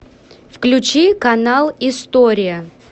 включи канал история